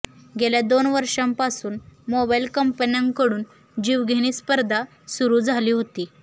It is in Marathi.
गेल्या दोन वर्षांपासून मोबाइल कंपन्यांकडून जीवघेणी स्पर्धा सुरू झाली होती